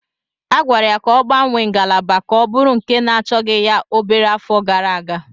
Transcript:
A gwara ya ka ọ gbanwee ngalaba ka ọ bụrụ nke na-achọghị ya obere afọ gara aga.